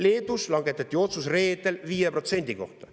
Leedus langetati reedel otsus 5% kohta.